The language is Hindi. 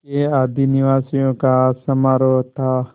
के आदिनिवासियों का समारोह था